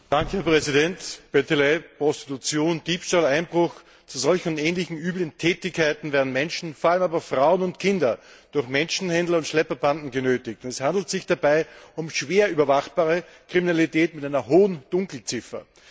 Herr Präsident! Bettelei, Prostitution, Diebstahl, Einbruch zu solchen und ähnlichen üblen Tätigkeiten werden Menschen vor allem Frauen und Kinder durch Menschenhändler und Schlepperbanden genötigt. Es handelt sich dabei um schwer überwachbare Kriminalität mit einer hohen Dunkelziffer.